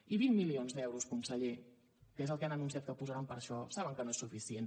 i vint milions d’euros conseller que és el que han anunciat que posaran per a això saben que no és suficient